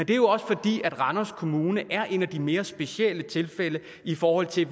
det er også fordi at randers kommune er et af de mere specielle tilfælde i forhold til